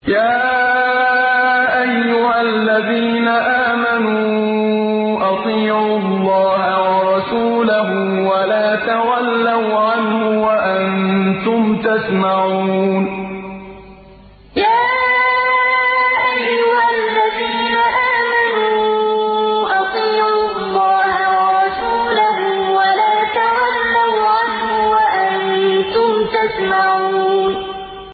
يَا أَيُّهَا الَّذِينَ آمَنُوا أَطِيعُوا اللَّهَ وَرَسُولَهُ وَلَا تَوَلَّوْا عَنْهُ وَأَنتُمْ تَسْمَعُونَ يَا أَيُّهَا الَّذِينَ آمَنُوا أَطِيعُوا اللَّهَ وَرَسُولَهُ وَلَا تَوَلَّوْا عَنْهُ وَأَنتُمْ تَسْمَعُونَ